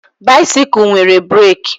Baisikụl nwere breeki